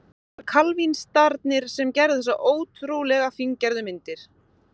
Það voru kalvínistarnir sem gerðu þessar ótrúlega fíngerðu myndir.